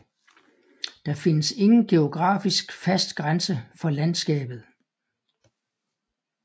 Der findes ingen geografisk fast grænse for landskabet